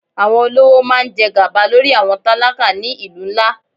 Àwọn olówó máa ń jẹ gàba lórí àwọn tálákà ni ìlú ńlá.